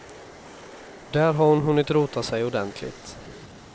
Där har hon hunnit rota sig ordentligt.